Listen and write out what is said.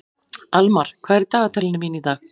Almar, hvað er í dagatalinu mínu í dag?